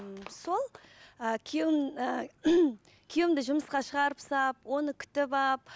ммм сол і күйеуім күйеуімді жұмысқа шығарып салып оны күтіп алып